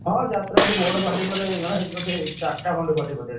ହଁ, ଯାତ୍ରା ସେଠି ବଡ ପାଟି ମାନେ ବୋଧେ ଚାରିଟା ଖଣ୍ଡେ ପାଟି ବୋଧେ ଏଠି।